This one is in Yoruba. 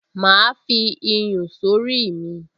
Màá fi iyùn sórí mi